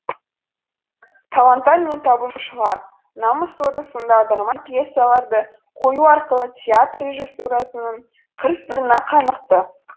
таланттар мен табынушылар намыс соты сынды аударма пьесаларды қою арқылы театр режиссурасының қыр сырына қанықты